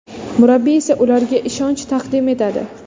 Murabbiy esa ularga ishonch taqdim etadi.